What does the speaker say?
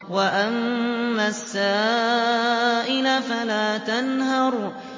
وَأَمَّا السَّائِلَ فَلَا تَنْهَرْ